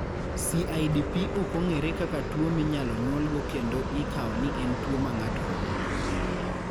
CIDP ok ong'ere kaka tuwo minyalo nyuolgo kendo ikawo ni en tuwo ma ng'ato yudo.